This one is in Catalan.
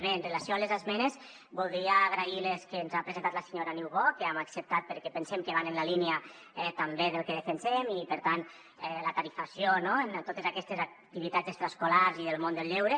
bé amb relació a les esmenes voldria agrair les que ens ha presentat la senyora niubó que hem acceptat perquè pensem que van en la línia també del que defensem i per tant la tarifació no en totes aquestes activitats extraescolars i del món del lleure